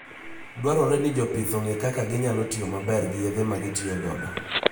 Dwarore ni jopith ong'e kaka ginyalo tiyo maber gi yedhe magitiyogodo.